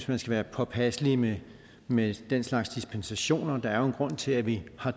man skal være påpasselig med med den slags dispensationer der er jo en grund til at vi har